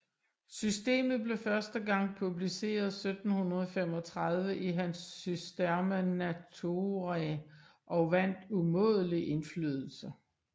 Systemet blev første gang publiceret 1735 i hans Systema Naturae og vandt umådelig indflydelse